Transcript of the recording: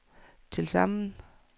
tilsammen